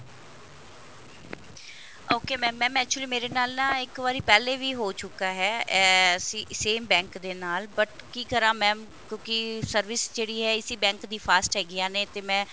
ok mam mam actually ਮੇਰੇ ਨਾਲ ਨਾ ਇੱਕ ਵਾਰੀ ਪਹਿਲੇ ਵੀ ਹੋ ਚੁੱਕਾ ਹੈ ਅਹ same bank ਦੇ ਨਾਲ but ਕਿ ਕਰਾ mam ਕਿਉਂਕਿ service ਜਿਹੜੀ ਹੈ ਇਸੀ bank ਦੀਆਂ fast ਹੈਗਿਆ ਨੇ ਤੇ ਮੈਂ